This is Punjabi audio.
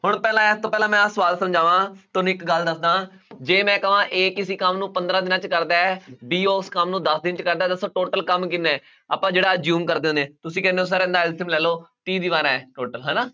ਹੁਣ ਪਹਿਲਾਂ ਇਸ ਤੋਂ ਪਹਿਲਾਂ ਮੈਂ ਆਹ ਸਵਾਲ ਸਮਝਾਵਾਂ ਤੁਹਾਨੂੰ ਇੱਕ ਗੱਲ ਦੱਸਦਾਂ ਜੇ ਮੈਂ ਕਵਾਂ a ਕਿਸੇ ਕੰਮ ਨੂੰ ਪੰਦਰਾਂ ਦਿਨਾਂ ਵਿੱਚ ਕਰਦਾ ਹੈ b ਉਸ ਕੰਮ ਨੂੰ ਦਸ ਦਿਨ 'ਚ ਕਰਦਾ ਹੈ ਦੱਸੋ total ਕੰਮ ਕਿੰਨਾ ਹੈ, ਆਪਾਂ ਜਿਹੜਾ assume ਕਰਦੇ ਹੁੰਦੇ, ਤੁਸੀਂ ਕਹਿੰਦੇ ਹੋ sir ਇਹਦਾ LCM ਲੈ ਲਓ ਤੀਹ ਦੀਵਾਰਾਂ ਹੈ total ਹਨਾ